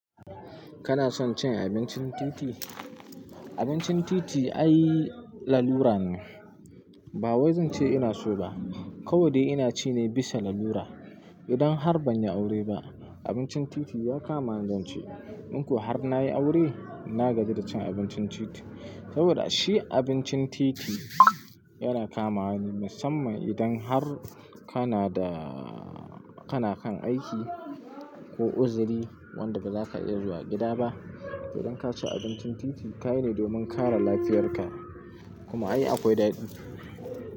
Kana son cin abincin titi? Abincin titi ai lalura ne. Ba wai zan ce ina so ba, kawai dai ina ci ne bisa lalura. Idan har ban yi aure ba, abincin titi ya kama ni zan ce. In ko har na yi aure na gaji da cin abincin titi. Saboda shi abincin titi yana kamawa ne musamman idan har kana da-- kana kan aiki ko uzuri wanda baza ka iya zuwa gida ba. Idan ka ci abincin titi, ka yi ne domin kare lafiyarka kuma ai akwai daɗi.